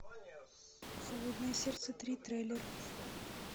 холодное сердце три трейлер